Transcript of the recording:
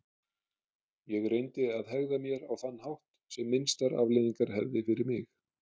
Ég reyndi að hegða mér á þann hátt sem minnstar afleiðingar hefði fyrir mig.